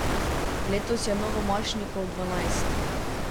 Letos je novomašnikov dvanajst.